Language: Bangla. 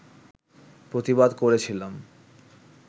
প্রতিবাদ করেছিলাম